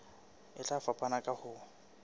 e tla fapana ka ho